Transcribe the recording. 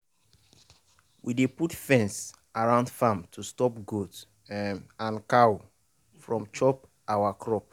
we dey put fence round farm to stop goat um and cow from chop our crop.